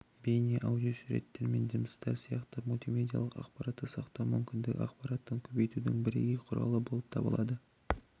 бейне аудио суреттер мен дыбыстар сияқты мультимедиялық ақпаратты сақтау мүмкіндігі ақпараттың көбейтудің бірегей құралы болып табылады